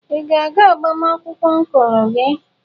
Ị ga-aga agbamakwụkwọ ọncụl gị?